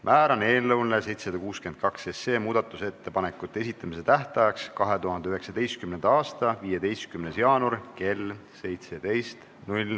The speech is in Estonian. Määran eelnõu 762 muudatusettepanekute esitamise tähtajaks 2019. aasta 15. jaanuari kell 17.